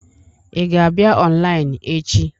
Ị ga-abịa ọnlaịnụ echi?